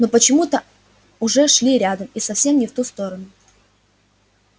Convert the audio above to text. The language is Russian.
они почему то уже шли рядом и совсем не в ту сторону